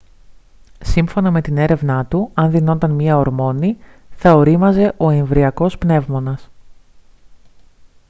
σύμφωνα με την έρευνά του αν δινόταν μια ορμόνη θα ωρίμαζε ο εμβρυακός πνεύμονας